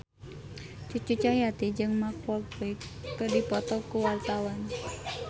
Cucu Cahyati jeung Mark Walberg keur dipoto ku wartawan